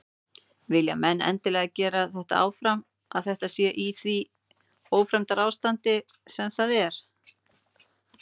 Vilja menn endilega gera þetta áfram að þetta sé í því ófremdarástandi sem það er?